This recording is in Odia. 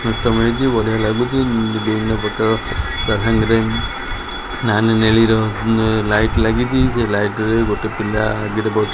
ଦ୍ଵୀପ ଲାଗିଛି ବଢ଼ିଆ ଲାଗୁଛି ଏବଂ ତାସଂଗରେ ନାଲି ନେଳିର ଲାଇଟ ଲାଗିଛି ସେଇ ଲାଇଟ୍ ରେ ବି ଗୋଟେ ପିଲା।